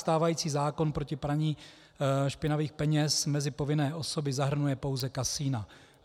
Stávající zákon proti praní špinavých peněz mezi povinné osoby zahrnuje pouze kasina.